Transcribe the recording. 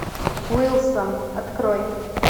уилсон открой